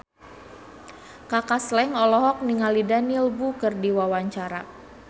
Kaka Slank olohok ningali Daniel Wu keur diwawancara